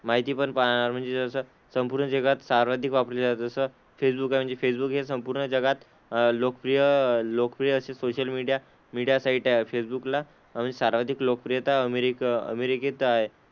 माहिती पण पा म्हणजे असं संपूर्ण जगात सर्वाधिक वापरले जातात. जसं फेसबुक आहे. फेसबुक हे संपूर्ण जगात लोकप्रिय लोकप्रिय असे सोशल मीडिया मीडिया साईट आहे. फेसबुकला म्हणजे सर्वाधिक लोकप्रियता अमेरिक अमेरिकेत आहे.